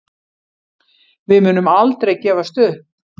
Við munum aldrei gefast upp